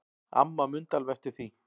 Amma mundi alveg eftir því.